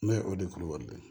Ne o de kulubali